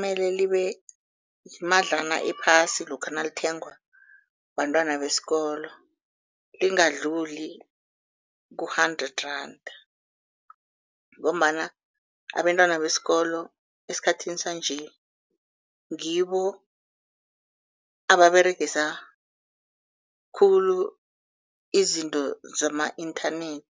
Mele libe imadlana ephasi lokha nalithengwa bantwana besikolo, lingadluli ku-hundred randa ngombana abentwana besikolo esikhathini sanje ngibo ababeregisa khulu izinto zama-internet